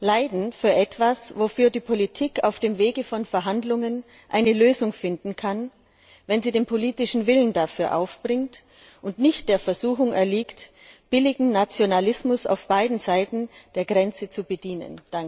Leiden für etwas, wofür die Politik auf dem Weg von Verhandlungen eine Lösung finden kann, wenn sie den politischen Willen dafür aufbringt und nicht der Versuchung erliegt, billigen Nationalismus auf beiden Seiten der Grenze zu bedienen.